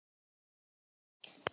Vala stóð fremst.